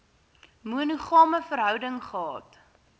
monogame verhouding gehad